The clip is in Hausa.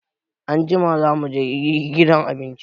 Anjima za mu gidan abinci.